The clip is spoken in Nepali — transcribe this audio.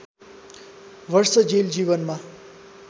वर्ष जेल जीवनमा